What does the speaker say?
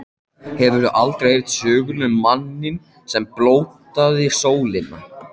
Hefurðu aldrei heyrt söguna um manninn, sem blótaði sólinni.